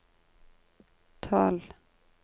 tolv